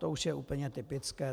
To už je úplně typické.